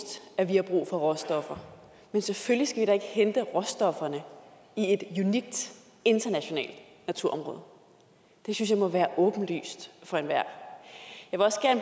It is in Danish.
at vi har brug for råstoffer men selvfølgelig skal vi da ikke hente råstofferne i et unikt internationalt naturområde det synes jeg må være åbenlyst for enhver